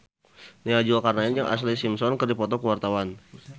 Nia Zulkarnaen jeung Ashlee Simpson keur dipoto ku wartawan